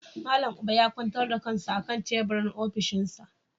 Malam Uba ya kwantar da kansa a kan teburin ofishinsa.